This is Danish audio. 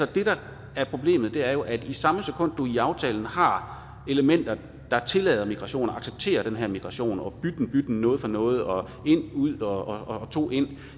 det der er problemet er jo at i samme sekund du i aftalen har elementer der tillader migration og accepterer den her migration og bytten bytten noget for noget og en ud og to ind